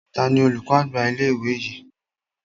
Tani olùkọ́ àgbà ilé ìwé yìí?